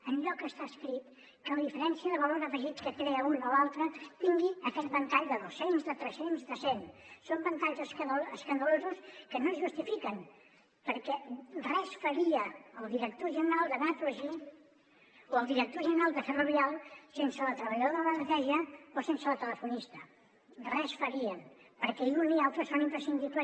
enlloc està escrit que la diferència de valor afegit que crea un o l’altre tingui aquest ventall de dos cents de tres cents de cent són ventalls escandalosos que no es justifiquen perquè res faria el director general de naturgy o el director general de ferrovial sense la treballadora de la neteja o sense la telefonista res farien perquè un i altre són imprescindibles